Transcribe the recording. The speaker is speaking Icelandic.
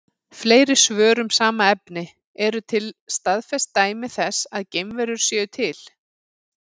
Fleiri svör um sama efni: Eru til staðfest dæmi þess að geimverur séu til?